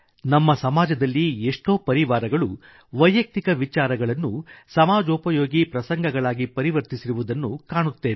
ನಮ್ಮ ಸಮಾಜದಲ್ಲಿ ಎಷ್ಟೋ ಪರಿವಾರಗಳು ವೈಯಕ್ತಿಕ ವಿಚಾರಗಳನ್ನು ಸಮಾಜೋಪಯೋಗಿ ಪ್ರಸಂಗಗಳಾಗಿ ಪರಿವರ್ತಿಸಿರುವುದನ್ನು ಕಾಣುತ್ತೇವೆ